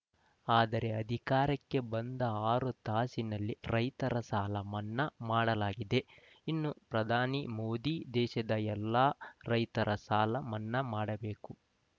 ಆದರೆ ಅಧಿಕಾರಕ್ಕೆ ಬಂದ ಆರು ತಾಸಿನಲ್ಲಿ ರೈತರ ಸಾಲ ಮನ್ನಾ ಮಾಡಲಾಗಿದೆ ಇನ್ನು ಪ್ರಧಾನಿ ಮೋದಿ ದೇಶದ ಎಲ್ಲ ರೈತರ ಸಾಲ ಮನ್ನಾ ಮಾಡಬೇಕು